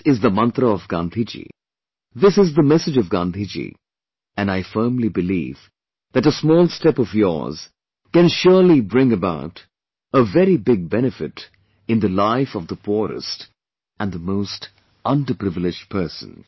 This is the mantra of Gandhiji, this is the message of Gandhiji and I firmly believe that a small step of yours can surely bring about a very big benefit in the life of the poorest and the most underprivileged person